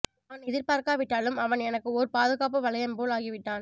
நான் எதிர் பார்க்காவிட்டாலும் அவன் எனக்கு ஓர் பாதுகாப்பு வளையம் போல் ஆகிவிட்டான்